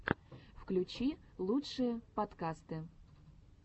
включи лучшие подкасты